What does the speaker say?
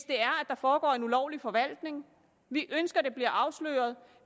der foregår en ulovlig forvaltning vi ønsker det bliver afsløret